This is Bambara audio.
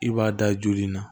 I b'a da joli na